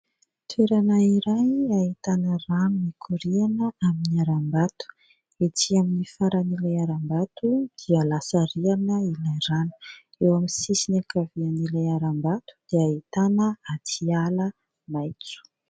Toerana iray ahitana rano mikoriana amin'ny haram-bato ety amin'ny faran'ilay haram-bato dia lasa rihana ilay rano. Eo amin'ny sisiny ankavian'ilay haram-bato dia ahitana aty ala maitso.